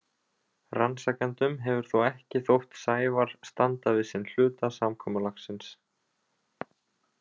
Rannsakendum hefur þó ekki þótt Sævar standa við sinn hluta samkomulagsins.